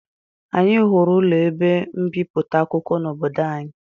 Anyị hụrụ ụlọ ebe mbipụta akwụkwọ n'obodo anyị